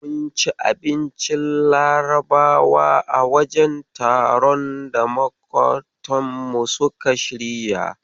Mun ci abincin Larabawa a wajen taron da maƙotanmu suka shirya.